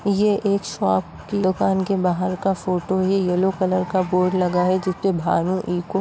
एक शॉप की दुकान के बाहर का फोटो है। ये येलो कलर का बोर्ड लगा है जिसपे --